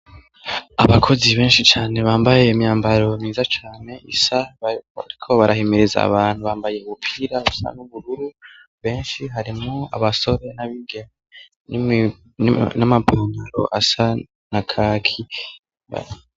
Abakozi benshi cane bambaye imyambaro myiza cane isa bariko barahimiriza abantu, bambaye udupira dusa n'ubururu benshi harimwo abasore n'abiga n'amapantaro asa na kaki.